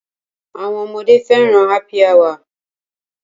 Àwọn ọmọdé fẹ́ràn Happy Hour.